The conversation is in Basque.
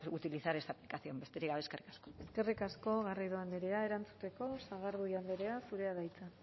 utilizar esta aplicación besterik gabe eskerrik asko eskerrik asko garrido andrea erantzuteko sagardui andrea zurea da hitza